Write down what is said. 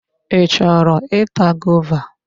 Ị chọrọ ịta gova?